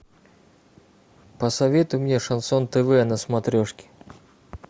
посоветуй мне шансон тв на смотрешке